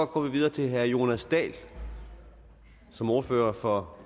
går vi videre til herre jonas dahl som ordfører for